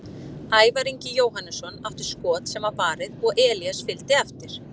Ævar Ingi Jóhannesson átti skot sem var varið og Elías fylgdi eftir.